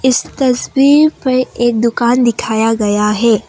इस तस्वीर पे एक दुकान दिखाया गया है।